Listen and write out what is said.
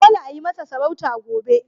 Dole ayi masa sarauta gobe!